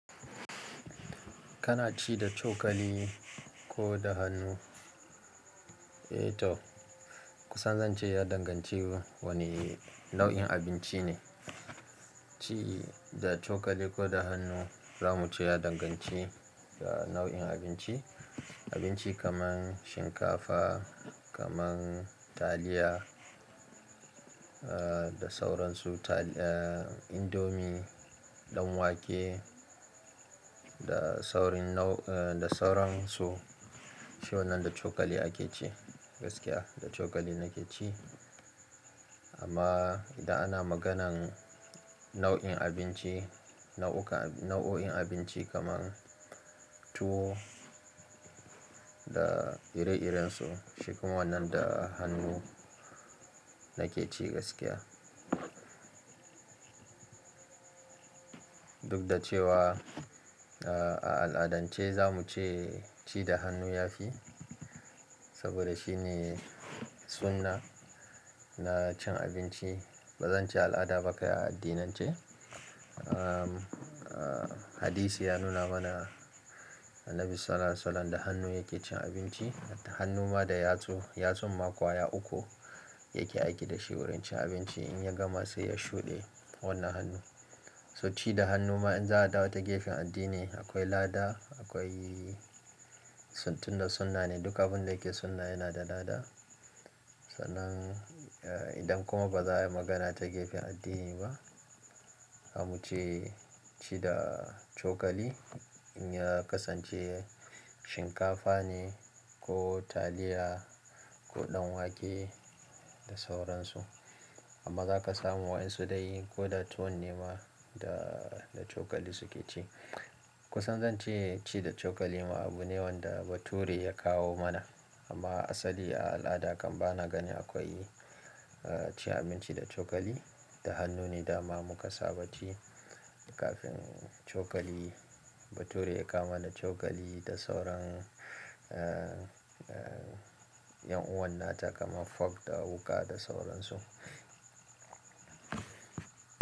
Kana ci da cokali ko da hannu? Eh toh kusan zan ce ya danganci wane nau'in abinci ne. Ci da cokali ko da hannu zamu ce ya danganci da nau'in abinci. Abinci kaman shinkafa, kaman taliya, eh da sauransu, tali-- eh indomi, ɗan wake da saurin nau-- eh da sauransu, shi wannan da cokali ake ci gaskiya, da cokali nake ci. Amma idan ana maganan nau'in abinci, nau'uka-- nau'o'in abinci kaman tuwo da ire-irensu, shi kuma wannan da hannu nake ci gaskiya. Duk da cewa a al'adance zamu ce ci da hannu ya fi saboda shi ne sunna na cin abinci. Ba zan ce al'ada ba ka yi a addinance. Hadisi ya nuna muna annabi sallallahu alaihi wa sallam da hannu yake. In abi cida hannun ma da yatsun ma guda uku In ya gama sai ya shuɗe wannan hannu. To ci da hunnu ma in za a dawo gefen addini akwai lada tunda sunna ne duk abinda yake sunna akwai lada Sannan idan kuma ba za'a yi magana ta gefen addini ba, zamu ce ci da cokali in ya kasance shinkafa ne ko taliya ko ɗan wake da sauransu. Amma za ka samu wayan sudai ko da tuwon nema da, da cokali suke ci. Kusan zan ce ci da cokali ma abu ne wanda bature ya kawo mana. Amma asali a al'ada kam ba na ganin akwai ci abinci da cokali, da hannu ne dama muka saba ci kafin cokali, bature ya kawo mana cokali da sauran yan uwannata kaman fok da wuƙa da sauransu.